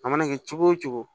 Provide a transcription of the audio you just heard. A mana kɛ cogo o cogo